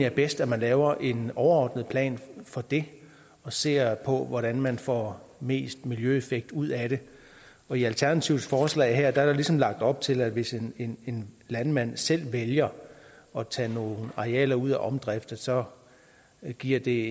er bedst at man laver en overordnet plan for det og ser på hvordan man får mest miljøeffekt ud af det i alternativets forslag her er der ligesom lagt op til at hvis en en landmand selv vælger at tage nogle arealer ud af omdrift så giver det